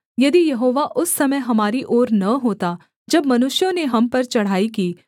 यदि यहोवा उस समय हमारी ओर न होता जब मनुष्यों ने हम पर चढ़ाई की